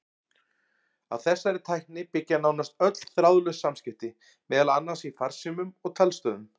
Á þessari tækni byggja nánast öll þráðlaus samskipti, meðal annars í farsímum og talstöðvum.